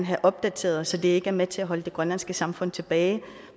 have opdateret så de ikke er med til at holde det grønlandske samfund tilbage